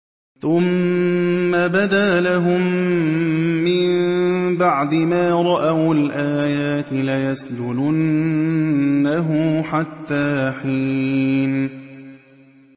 ثُمَّ بَدَا لَهُم مِّن بَعْدِ مَا رَأَوُا الْآيَاتِ لَيَسْجُنُنَّهُ حَتَّىٰ حِينٍ